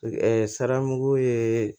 saramugu ye